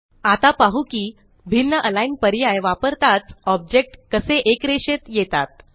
आता पाहू कि भिन्नAlign पर्याय वापरताच ऑब्जेक्ट कसे एकरेषेत येतात